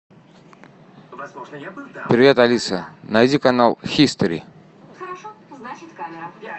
привет алиса найди канал хистори